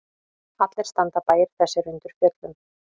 Allir standa bæir þessir undir fjöllum.